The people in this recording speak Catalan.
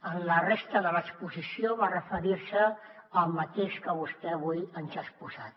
en la resta de l’exposició va referir se al mateix que vostè avui ens ha exposat